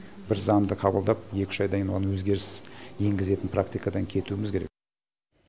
бір заңды қабылдап екі үш айдан кейін оған өзгеріс енгізетін практикадан кетуіміз керек